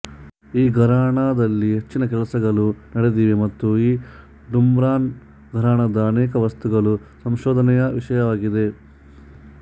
ಈ ಘರಾನಾದಲ್ಲಿ ಹೆಚ್ಚಿನ ಕೆಲಸಗಳು ನಡೆದಿವೆ ಮತ್ತು ಈ ಡುಮ್ರಾನ್ ಘರಾನಾದ ಅನೇಕ ವಸ್ತುಗಳು ಸಂಶೋಧನೆಯ ವಿಷಯವಾಗಿದೆ